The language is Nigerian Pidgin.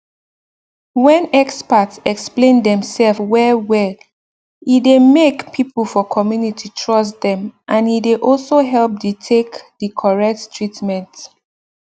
when experts explain them self well well he dey make people for community trust them and he dey also help the take the correct treatment